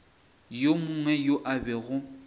yo mongwe yo a bego